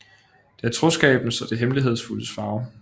Det er troskabens og det hemmelighedsfuldes farve